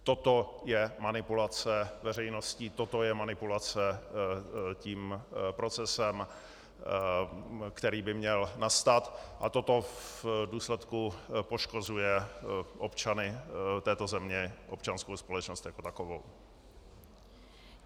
Toto je manipulace veřejností, toto je manipulace tím procesem, který by měl nastat, a toto v důsledku poškozuje občany této země, občanskou společnost jako takovou.